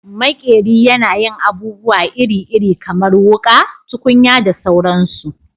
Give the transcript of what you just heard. Maƙeri yana yin abubuwa iri-iri kamar wuƙa, tukunya da sauransu